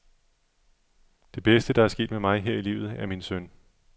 Det bedste, der er sket mig her i livet, er min søn.